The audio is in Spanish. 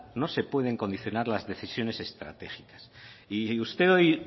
no se puede condicionar las decisiones estratégicas y usted hoy